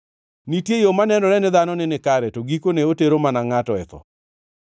Nitie yo manenore ne dhano ni nikare, to gikone otero mana ngʼato e tho.